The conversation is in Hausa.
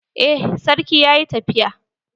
Eh sarki yaƴi tafiya.